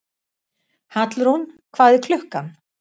Hallrún, hvað er klukkan?